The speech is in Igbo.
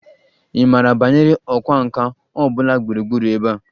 Ị maara banyere ọkwá nkà ọ bụla gburugburu ebe a?